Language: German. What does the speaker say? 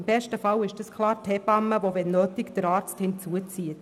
Im besten Fall ist es die Hebamme die, wo nötig, den Arzt beizieht.